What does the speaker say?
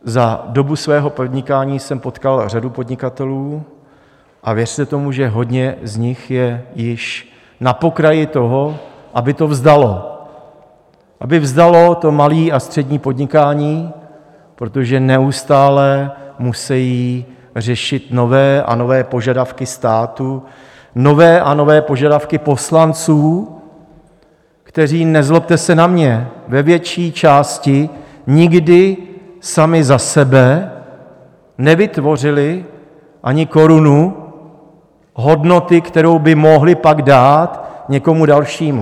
Za dobu svého podnikání jsem potkal řadu podnikatelů a věřte tomu, že hodně z nich je již na pokraji toho, aby to vzdalo, aby vzdalo to malé a střední podnikání, protože neustále musejí řešit nové a nové požadavky státu, nové a nové požadavky poslanců, kteří, nezlobte se na mě, ve větší části nikdy sami za sebe nevytvořili ani korunu hodnoty, kterou by mohli pak dát někomu dalšímu.